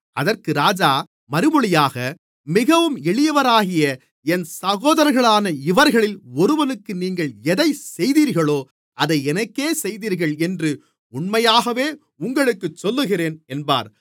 அதற்கு ராஜா மறுமொழியாக மிகவும் எளியவராகிய என் சகோதரர்களான இவர்களில் ஒருவனுக்கு நீங்கள் எதைச் செய்தீர்களோ அதை எனக்கே செய்தீர்கள் என்று உண்மையாகவே உங்களுக்குச் சொல்லுகிறேன் என்பார்